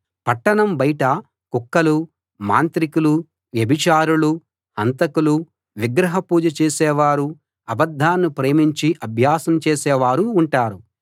పట్టణం బయట కుక్కలూ మాంత్రికులూ వ్యభిచారులూ హంతకులూ విగ్రహ పూజ చేసేవారూ అబద్ధాన్ని ప్రేమించి అభ్యాసం చేసేవారూ ఉంటారు